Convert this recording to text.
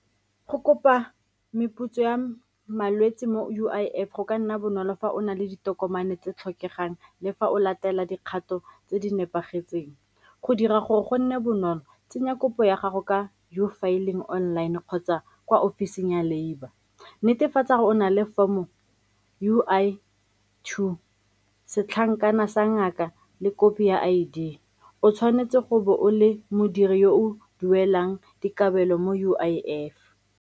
Go kopa meputso ya malwetse mo U_I_F go ka nna bonolo fa o na le ditokomane tse tlhokegang le fa o latela dikgato tse di nepagetseng. Go dira gore go nne bonolo, tsenya kopo ya gago ka U filling online kgotsa kwa ofising ya labour, netefatsa gore o na le form-o U_I two, setlankana sa ngaka le kopi ya I_D, o tshwanetse go bo o le modiri yo o duelang dikabelo mo U_I_F.